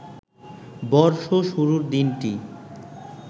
বর্ষ শুরুর দিনটি